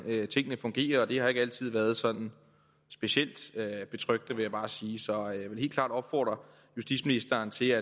tingene fungerer og det har ikke altid været sådan specielt betryggende vil jeg bare sige så jeg vil helt klart opfordre justitsministeren til